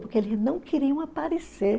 Porque eles não queriam aparecer.